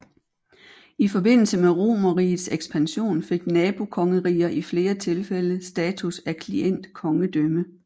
I forbindelse med Romerrigets ekspansion fik nabokongeriger i flere tilfælde status af klientkongedømme